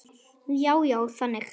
Já, já, þannig.